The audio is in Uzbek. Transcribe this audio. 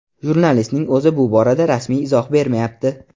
Jurnalistning o‘zi bu borada rasmiy izoh bermayapti.